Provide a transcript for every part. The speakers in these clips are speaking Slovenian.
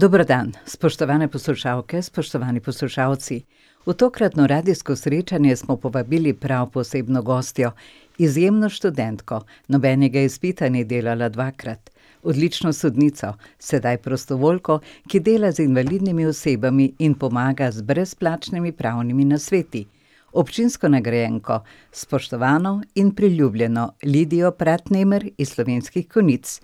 Dober dan, spoštovane poslušalke, spoštovani poslušalci. V tokratno radijsko srečanje smo povabili prav posebno gostjo, izjemno študentko, nobenega izpita ni delala dvakrat, odlično sodnico, sedaj prostovoljko, ki dela z invalidnimi osebami in pomaga z brezplačnimi pravnimi nasveti, občinsko nagrajenko, spoštovano in priljubljeno Lidijo Pratnemer iz Slovenskih Konjic.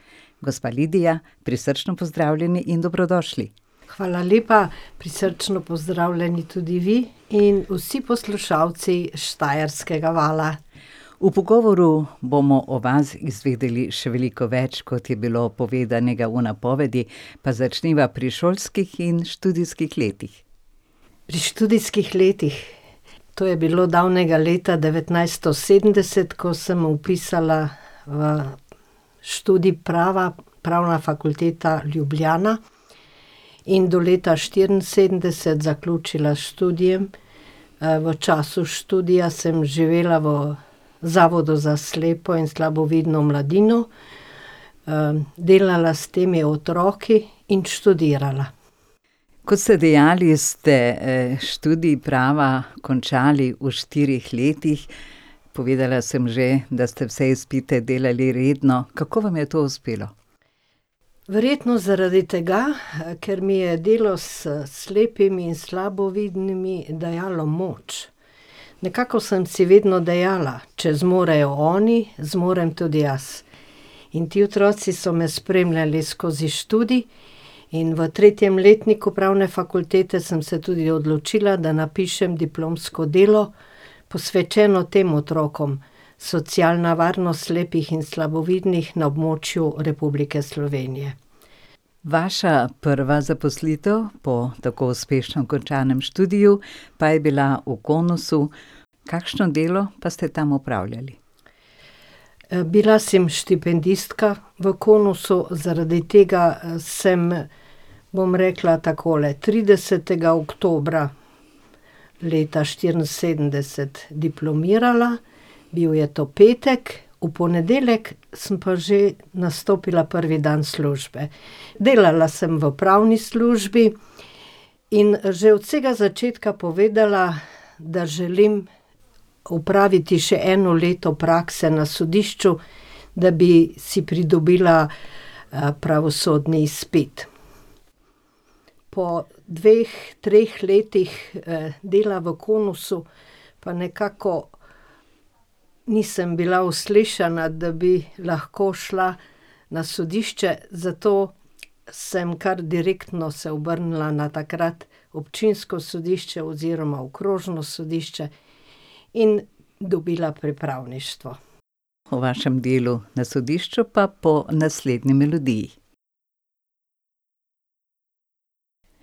Gospa Lidija, prisrčno pozdravljeni in dobrodošli. Hvala lepa, prisrčno pozdravljeni tudi vi in vsi poslušalci Štajerskega vala. V pogovoru bomo o vas izvedeli še veliko več, kot je bilo povedanega v napovedi. Pa začniva pri šolskih in študijskih letih. Pri študijskih letih. To je bilo davnega leta devetnajststo sedemdeset, ko sem vpisala v študij prava, Pravna fakulteta Ljubljana, in do leta štiriinsedemdeset zaključila s študijem. v času študija sem živela v Zavodu za slepo in slabovidno mladino, delala s temi otroki in študirala. Kot ste dejali, ste, študij prava končali v štirih letih. Povedala sem že, da ste vse izpite delali redno. Kako vam je to uspelo? Verjetno zaradi tega, ker mi je delo s slepimi in slabovidnimi dajalo moč. Nekako sem si vedno dejala: "Če zmorejo oni, zmorem tudi jaz." In ti otroci so me spremljali skozi študij in v tretjem letniku pravne fakultete sem se tudi odločila, da napišem diplomsko delo, posvečeno tem otrokom; Socialna varnost slepih in slabovidnih na območju Republike Slovenije. Vaša prva zaposlitev po tako uspešno končanem študiju pa je bila v Konosu, kakšno delo pa ste tam opravljali? bila sem štipendistka v Konosu, zaradi tega, sem, bom rekla takole, tridesetega oktobra leta štiriinsedemdeset diplomirala, bil je to petek, v ponedeljek sem pa že nastopila prvi dan službe. Delala sem v pravni službi in že od vsega začetka povedala, da želim opraviti še eno leto prakse na sodišču, da bi si pridobila, pravosodni izpit. Po dveh, treh letih, dela v Konosu pa nekako nisem bila uslišana, da bi lahko šla na sodišče, zato sem kar direktno se obrnila na takrat občinsko sodišče oziroma okrožno sodišče in dobila pripravništvo. O vašem delu na sodišču pa po naslednji melodiji.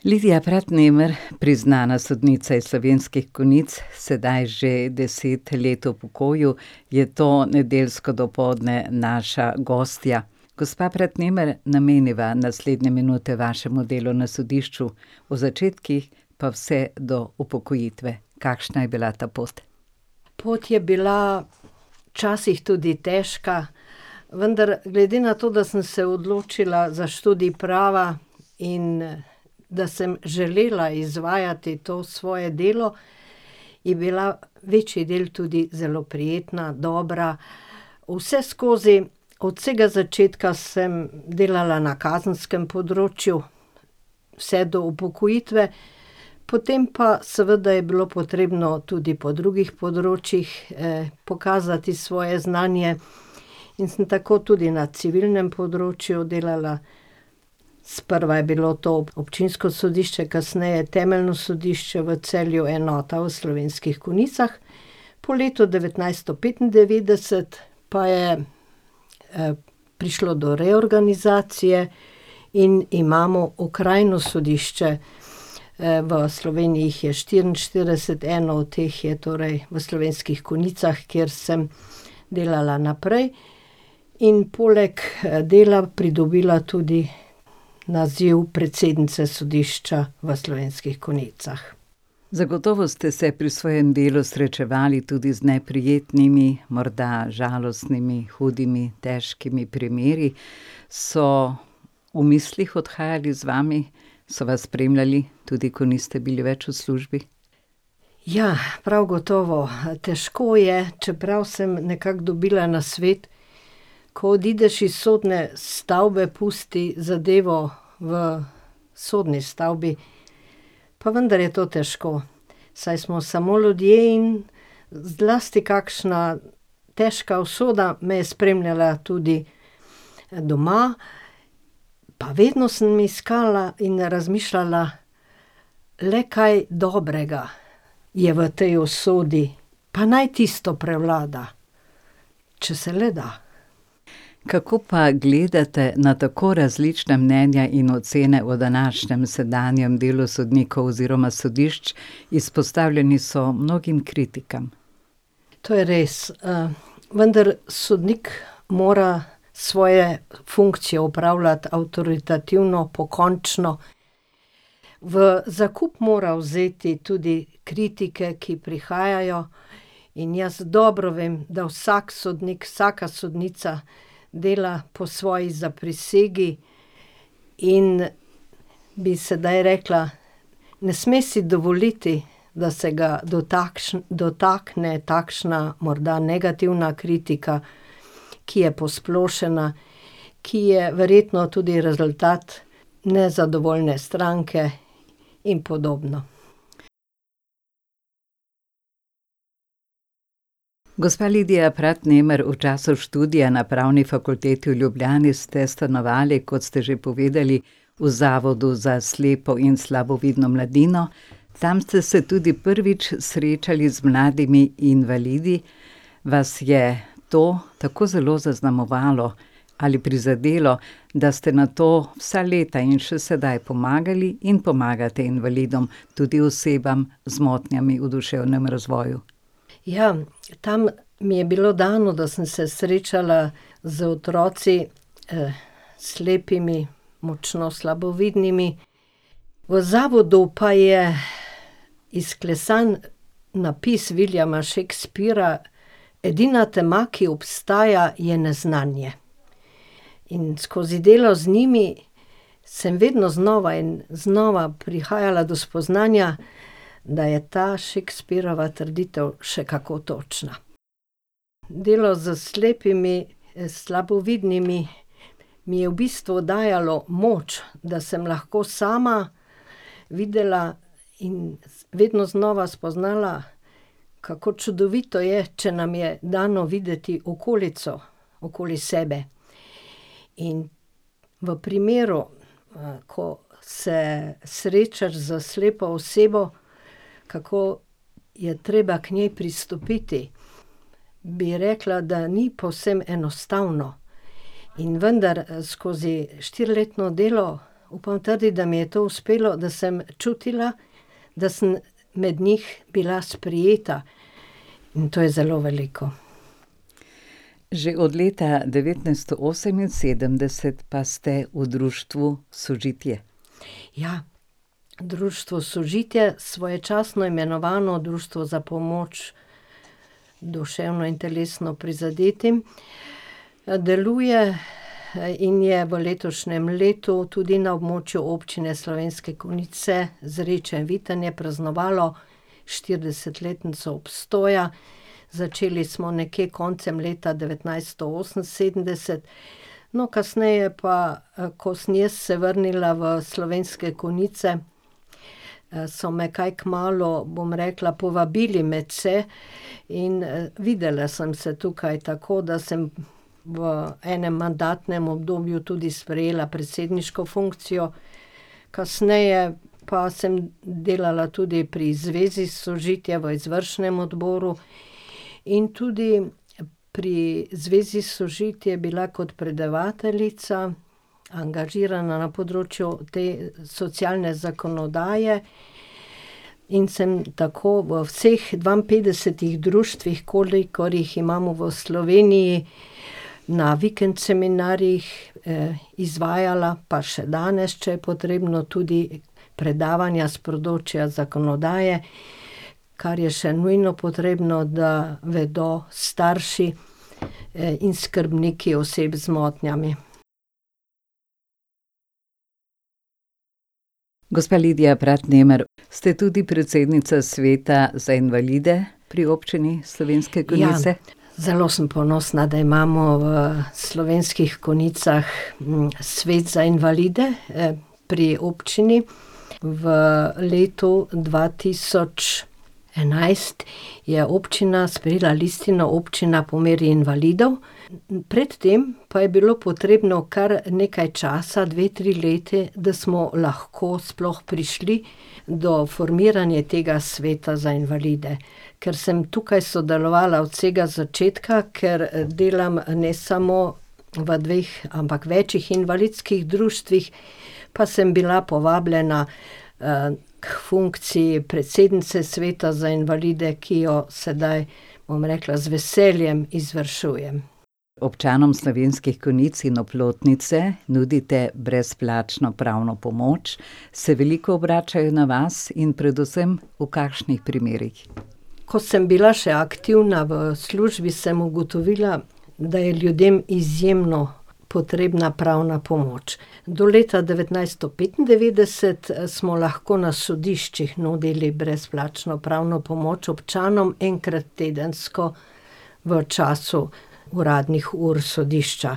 Lidija Pratnemer, priznana sodnica iz Slovenskih Konjic, sedaj že deset let v pokoju, je to nedeljsko dopoldne naša gostja. Gospa Pratnemer, nameniva naslednje minute vašemu delu na sodišču. O začetkih pa vse do upokojitve. Kakšna je bila ta pot? Pot je bila včasih tudi težka, vendar glede na to, da sem se odločila za študij prava in da sem želela izvajati to svoje delo, je bila večji del tudi zelo prijetna, dobra. Vseskozi od vsega začetka sem delala na kazenskem področju, vse do upokojitve. Potem pa seveda je bilo potrebno tudi po drugih področjih, pokazati svoje znanje. In sem tako tudi na civilnem področju delala. Sprva je bilo to občinsko sodišče, kasneje temeljno sodišče v Celju, enota v Slovenskih Konjicah, po letu devetnajststo petindevetdeset pa je, prišlo do reorganizacije in imamo okrajno sodišče, v Sloveniji jih je štiriinštirideset, eno od teh je torej v Slovenskih Konjicah, kjer sem delala naprej in poleg, dela pridobila tudi naziv predsednice sodišča v Slovenskih Konjicah. Zagotovo ste se pri svojem delu srečevali tudi z neprijetnimi, morda žalostnimi, hudimi, težkimi primeri. So v mislih odhajali z vami, so vas spremljali, tudi ko niste bili več v službi? Ja, prav gotovo, težko je, čeprav sem nekako dobila nasvet: "Ko odideš iz sodne stavbe, pusti zadevo v sodni stavbi." Pa vendar je to težko, saj smo samo ljudje in zlasti kakšna težka usoda me je spremljala tudi doma. Pa vedno samo iskala in razmišljala, le kaj dobrega je v tej usodi, pa naj tisto prevlada, če se le da. Kako pa gledate na tako različna mnenja in ocene v današnjem, sedanjem delu sodnikov oziroma sodišč? Izpostavljeni so mnogim kritikam. To je res, vendar sodnik mora svoje funkcijo opravljati avtoritativno, pokončno. V zakup mora vzeti tudi kritike, ki prihajajo. In jaz dobro vem, da vsak sodnik, vsaka sodnica dela po svoji zaprisegi, in bi sedaj rekla: "Ne sme si dovoliti, da se ga dotakne takšna morda negativna kritika, ki je posplošena, ki je verjetno tudi rezultat nezadovoljne stranke in podobno." Gospa Lidija Pratnemer, v času študija na Pravni fakulteti v Ljubljani ste stanovali, kot ste že povedali, v Zavodu za slepo in slabovidno mladino. Tam ste se tudi prvič srečali z mladimi invalidi. Vas je to tako zelo zaznamovalo ali prizadelo, da ste nato vsa leta in še sedaj pomagali in pomagate invalidom, tudi osebam z motnjami v duševnem razvoju? Ja, tam mi je bilo dano, da sem se srečala z otroki, slepimi, močno slabovidnimi, v zavodu pa je izklesan napis Williama Shakespeara: "Edina tema, ki obstaja, je neznanje." In skozi delo z njimi sem vedno znova in znova prihajala do spoznanja, da je ta Shakespearova trditev še kako točna. Delo s slepimi in slabovidnimi mi je v bistvu dajalo moč, da sem lahko sama videla in vedno znova spoznala, kako čudovito je, če nam je dano videti okolico. okoli sebe, in v primeru, ko se srečaš s slepo osebo, kako je treba k njej pristopiti. Bi rekla, da ni povsem enostavno. In vendar, skozi štiriletno delo upam trditi, da mi je to uspelo, da sem čutila, da sem med njih bila sprejeta. In to je zelo veliko. Že od leta devetnajststo oseminsedemdeset pa ste v društvu Sožitje. Ja, društvo Sožitje, svoječasno imenovano Društvo za pomoč duševno in telesno prizadetim. deluje, in je v letošnjem letu tudi na območju Občine Slovenske Konjice, Zreče, Vitanje, praznovalo štiridesetletnico obstoja. Začeli smo nekje koncem leta devetnajststo oseminsedemdeset, no, kasneje pa, ko sem jaz se vrnila v Slovenske Konjice, so me kaj kmalu, bom rekla, povabili medse. In, videla sem se tukaj, tako da sem v enim mandatnem obdobju tudi sprejela predsedniško funkcijo. Kasneje pa sem delala tudi pri zvezi Sožitje, pri izvršnem odboru, in tudi pri zvezi Sožitje bila kot predavateljica, angažirana na področju te socialne zakonodaje. In sem tako v vseh dvainpetdesetih društvih, kolikor jih imamo v Sloveniji, na vikend seminarjih, izvajala, pa še danes, če je potrebno, tudi predavanja s področja zakonodaje, kar je še nujno potrebno, da vedo starši, in skrbniki oseb z motnjami. Gospa Lidija Pratnemer, ste tudi predsednica Sveta za invalide pri Občini Slovenske Konjice. Ja. Zelo sem ponosna, da imamo v Slovenskih Konjicah, Svet za invalide, pri občini. V letu dva tisoč enajst je občina sprejela listino Občina po meri invalidov, pred tem pa je bilo potrebno kar nekaj časa, dve, tri leta, da smo lahko sploh prišli do formiranja tega Sveta za invalide. Ker sem tukaj sodelovala od vsega začetka, ker, delam ne samo v dveh, ampak večih invalidskih društvih, pa sem bila povabljena, k funkciji predsednice Sveta za invalide, ki jo sedaj, bom rekla, z veseljem izvršujem. Občanom Slovenskih Konjic in Oplotnice nudite brezplačno pravno pomoč. Se veliko obračajo na vas in predvsem v kakšnih primerih? Ko sem bila še aktivna v službi, sem ugotovila, da je ljudem izjemno potrebna pravna pomoč. Do leta devetnajststo petindevetdeset smo lahko na sodiščih nudili brezplačno pravno pomoč občanom enkrat tedensko v času uradnih ur sodišča.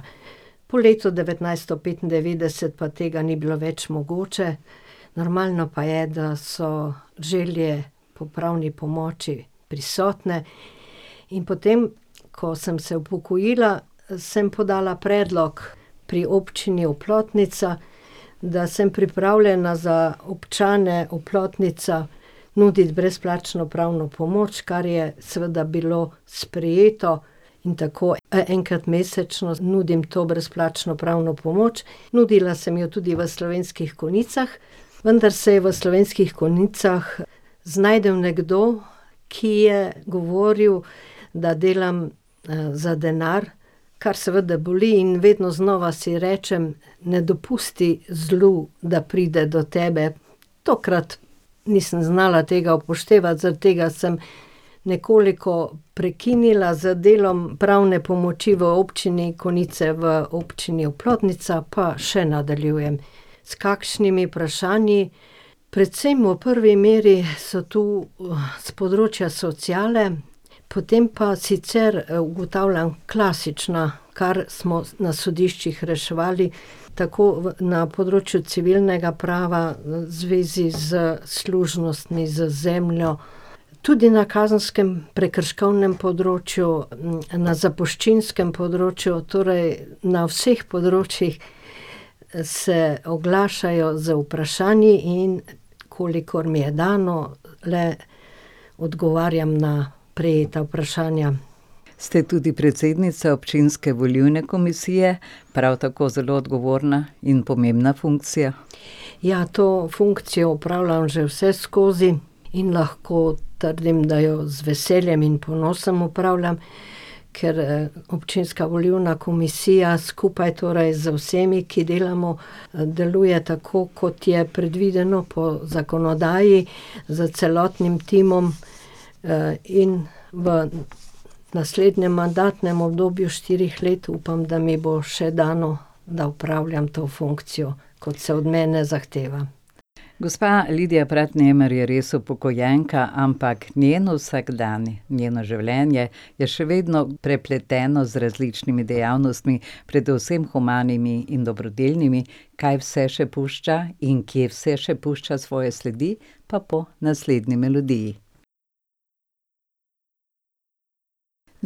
Po letu devetnajststo petindevetdeset pa tega ni bilo več mogoče, normalno pa je, da so želje po pravni pomoči prisotne. In potem ko sem se upokojila, sem podala predlog pri Občini Oplotnica, da sem pripravljena za občane Oplotnica nuditi brezplačno pravno pomoč, kar je seveda bilo sprejeto, in tako, enkrat mesečno nudim to brezplačno pravno pomoč. Nudila sem jo tudi v Slovenskih Konjicah, vendar se je v Slovenskih Konjicah znašel nekdo, ki je govoril, da delam, za denar, kar seveda boli, in vedno znova si rečem: "Ne dopusti zlu, da pride do tebe." Tokrat nisem znala tega upoštevati, zaradi tega sem nekoliko prekinila z delom pravne pomoči v Občini Konjice, v Občini Oplotnica pa še nadaljujem. S kakšnimi vprašanji? Predvsem v prvi meri so tu, s področja sociale, potem pa sicer ugotavljam, klasična, kar smo na sodiščih reševali, tako na področju civilnega prava v zvezi s služnostmi z zemljo, tudi na kazenskem, prekrškovnem področju, na zapuščinskem področju, torej na vseh področjih, se oglašajo z vprašanji in kolikor mi je dano, le odgovarjam na prejeta vprašanja. Ste tudi predsednica občinske volilne komisije, prav tako zelo odgovorna in pomembna funkcija. Ja, to funkcijo opravljam že vseskozi in lahko trdim, da jo z veseljem in ponosom opravljam, ker, občinska volilna komisija skupaj torej z vsemi, ki delamo, deluje tako, kot je predvideno po zakonodaji, s celotnim timom. in v naslednjem mandatnem obdobju štirih let, upam, da mi bo še dano, da opravljam to funkcijo, kot se od mene zahteva. Gospa Lidija Pratnemer je res upokojenka, ampak njen vsakdan, njeno življenje je še vedno prepleteno z različnimi dejavnostmi, predvsem humanimi in dobrodelnimi. Kaj vse še pušča in kje vse še pušča svoje sledi, pa po naslednji melodiji.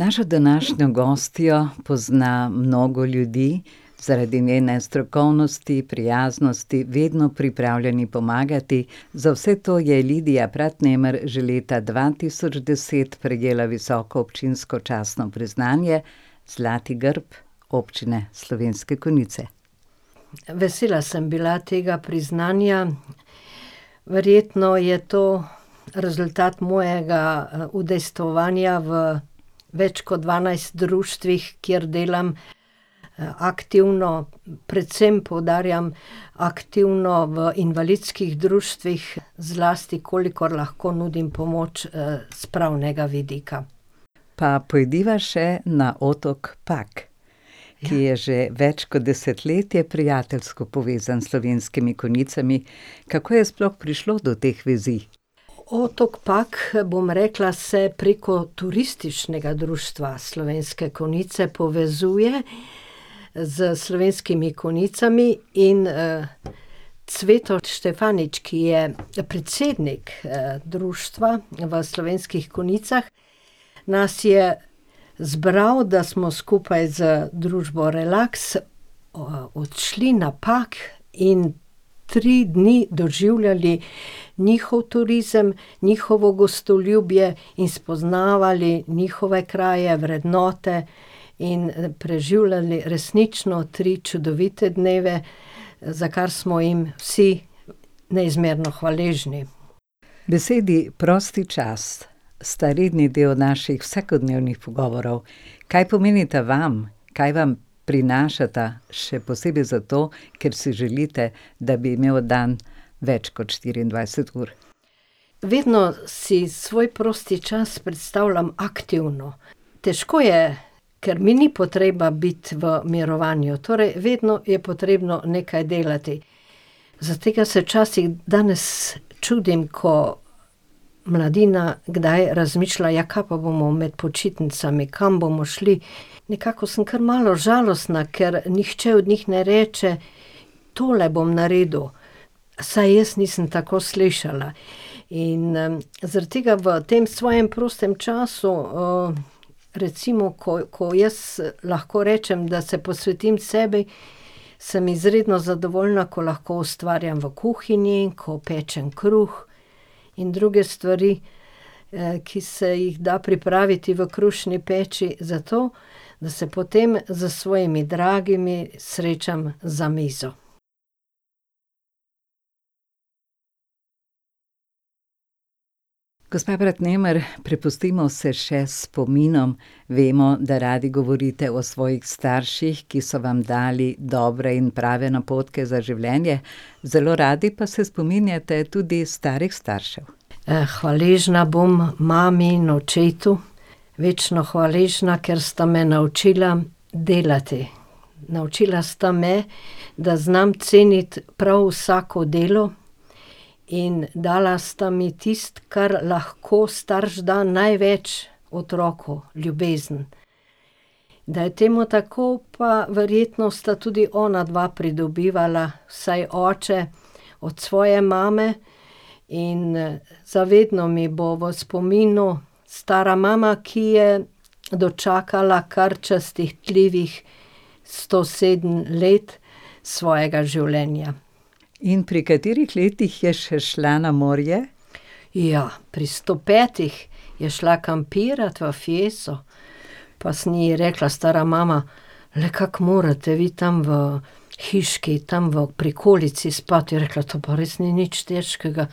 Našo današnjo gostjo pozna mnogo ljudi zaradi njene strokovnosti, prijaznosti, vedno pripravljeni pomagati. Za vse to je Lidija Pratnemer že leta dva tisoč deset prejela visoko občinsko častno priznanje, zlati grb Občine Slovenske Konjice. Vesela sem bila tega priznanja, verjetno je to rezultat mojega, udejstvovanja v več kot dvanajst društvih, kjer delam, aktivno, predvsem poudarjam aktivno v invalidskih društvih, zlasti kolikor lahko nudim pomoč, s pravnega vidika. Pa pojdiva še na otok Pag, ki je že več kot desetletje prijateljsko povezan s Slovenskimi Konjicami. Kako je sploh prišlo do teh vizij? Otok Pag, bom rekla, se preko Turističnega društva Slovenske Konjice povezuje s Slovenskimi Konjicami. In, Cveto Štefanič, ki je, predsednik, društva v Slovenskih Konjicah, nas je zbral, da smo skupaj z družbo Relax odšli na Pag in tri dni doživljali njihov turizem, njihovo gostoljubje in spoznavali njihove kraje, vrednote in preživljali resnično tri čudovite dneve, za kar smo jim vsi neizmerno hvaležni. Besedi prosti čas sta redni del naših vsakodnevnih pogovorov. Kaj pomenita vam? Kaj vam prinašata, še posebej zato, ker si želite, da bi imel dan več kot štiriindvajset ur? Vedno si svoj prosti čas predstavljam aktivno. Težko je, ker mi ni potreba biti v mirovanju, torej vedno je potrebno nekaj delati. Zaradi tega se včasih danes čudim, ko mladina kdaj razmišlja: "Ja, kaj pa bomo med počitnicami, kam bomo šli?" Nekako sem kar malo žalostna, ker nihče od njih ne reče: "Tole bom naredil." Vsaj jaz nisem tako slišala. In, zaradi tega v tem svojem prostem času, recimo, ko, ko jaz lahko rečem, da se posvetim sebi, sem izredno zadovoljna, ko lahko ustvarjam v kuhinji, ko pečem kruh in druge stvari, ki se jih da pripraviti v krušni peči, zato da se potem s svojimi dragimi srečam za mizo. Gospa Pratnemer, prepustimo se še spominom. Vemo, da radi govorite o svojih starših, ki so vam dali dobre in prave napotke za življenje. Zelo radi pa se spominjate tudi starih staršev. hvaležna bom mami in očetu, večno hvaležna, ker sta me naučila delati. Naučila sta me, da znam ceniti prav vsako delo, in dala sta mi tisto, kar lahko starš da, največ otroku: ljubezen. Da je temu tako, pa verjetno sta tudi onadva pridobivala, vsaj oče od svoje mame, in, za vedno mi bo v spominu stara mama, ki je dočakala kar častitljivih sto sedem let svojega življenja. In pri katerih letih je še šla na morje? Ja, pri sto petih je šla kampirat v Fieso. Pa sem ji rekla: "Stara mama, le kako morete vi tam v hiški, tam v prikolici spat?" Je rekla: "To pa res ni nič težkega,